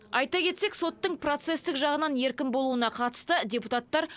айта кетсек соттың процестік жағынан еркін болуына қатысты депутаттар